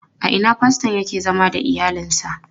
A ina faston yake zama da iyalinsa?